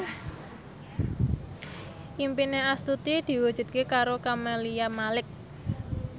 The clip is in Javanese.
impine Astuti diwujudke karo Camelia Malik